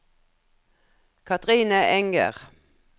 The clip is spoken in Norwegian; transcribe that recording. Kathrine Enger